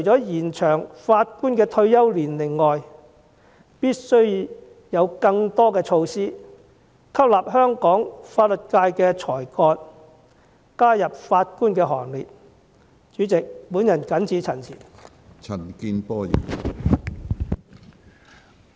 延長法官退休年齡，我相信一定有助減輕或最低限度延遲法官因退休而人手流失的問題。